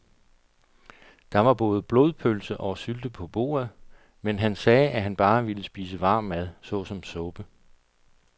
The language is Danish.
Der var både blodpølse og sylte på bordet, men han sagde, at han bare ville spise varm mad såsom suppe.